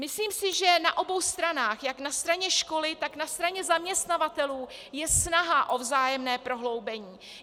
Myslím si, že na obou stranách, jak na straně školy, tak na straně zaměstnavatelů, je snaha o vzájemné prohloubení.